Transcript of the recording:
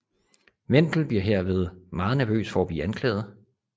Wendel bliver herved meget nervøs for at blive anklaget